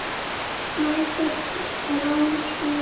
Snæfell er án stiga.